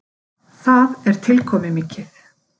Það er tilkomumikið.